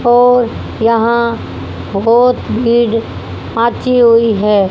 और यहां बहोत भीड़ आती हुई है।